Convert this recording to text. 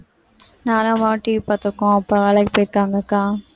நானும் அம்மாவும் TV பார்த்திருக்கோம் அப்பா வேலைக்கு போயிருக்காங்க அக்கா